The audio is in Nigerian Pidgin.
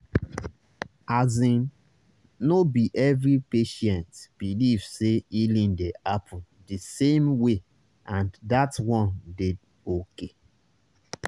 asin no be every patient believe say healing dey happen di same way and that one dey okay